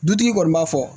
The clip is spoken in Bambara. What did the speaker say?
Dutigi kɔni b'a fɔ